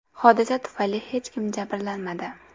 Hodisa tufayli hech kim jabrlanmadi.